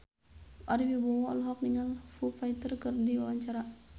Ari Wibowo olohok ningali Foo Fighter keur diwawancara